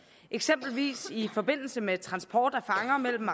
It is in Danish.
eksempelvis i forbindelse med transport af fanger mellem